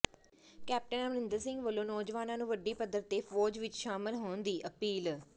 captain Amarinder Singh ਵੱਲੋਂ ਨੌਜਵਾਨਾਂ ਨੂੰ ਵੱਡੀ ਪੱਧਰ ਤੇ ਫੌਜ ਵਿੱਚ ਸ਼ਾਮਲ ਹੋਣ ਦੀ ਅਪੀਲ